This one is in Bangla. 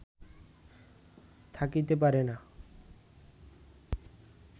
থাকিতে পারে না